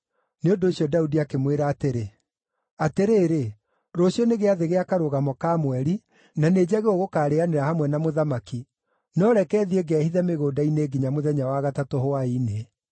Nĩ ũndũ ũcio Daudi akĩmwĩra atĩrĩ, “Atĩrĩrĩ, rũciũ nĩ gĩathĩ gĩa Karũgamo ka Mweri na nĩnjagĩrĩirwo gũkaarĩanĩra hamwe na mũthamaki, no reke thiĩ ngehithe mĩgũnda-inĩ nginya mũthenya wa gatatũ hwaĩ-inĩ.